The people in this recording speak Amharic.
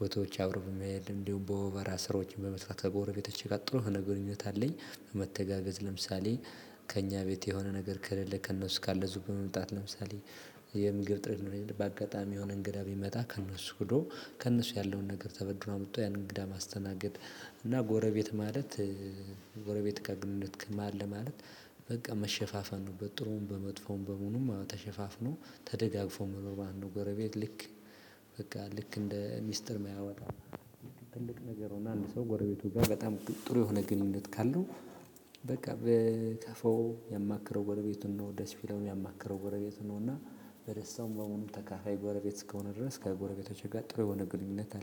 ቦታዎች አብሮ በመሄድ እንዲሁም በሆቨራ ስሮች በመስራት ከጎረቤቶቼ ጋር ጥሩ ሀነ ግንኙነት አለኝ። መተጋገዝ ለምሳሌ ከእኛ ቤት የሆነ ነገር ከሌለ ከእነሱ ካለ ዙፍ በመምጣት ለምሳሌ የምግብ እጥረት ነው የለም በአጋጣሚ የሆነ እንግዳ ቢመጣ ከእነሱ ብዶ ከእነሱ ያለውን ነገር ተበድሮ አምጥቶ ያን እንግዳ ማስተናገድ። እና ጎረቤት ማለት ጎረቤት ከግንኙነት ማለ ማለት በቃ መሸፋፈን ነው በጥሩም በመጥፎም በሙሉም ተሸፋፍኖ ተደጋግፎ መኖር መለት ነው። ጎረቤት ልክ በቃ ልክ እንደ ሚስጥር መያወጣ ትልቅ ነገር አንድ ሰው ጎረቤቱ ጋር በጣም ጥሩ የሆነ ግንኙነት ካለው። በቃ በ ከፈው ያማከረው ጎረቤቱን ነው ደስ ቢለው የሚያማክረው ጎረቤት ነው። እና በደስታው በሙሉ ተካፋይ ጎረቤት እስከሆነ ድረስ ከጎረቤቶቼ ጋር ጥሩ የሆነ ግንኙነት አለ